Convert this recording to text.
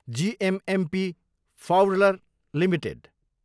GMMP फाउडलर Ltd